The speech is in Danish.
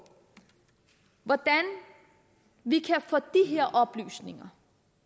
hvordan vi kan få de her oplysninger